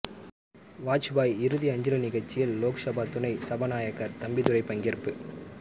வாஜ்பாய் இறுதி அஞ்சலி நிகழ்ச்சியில் லோக்சபா துணை சபாநாயகர் தம்பிதுரை பங்கேற்பு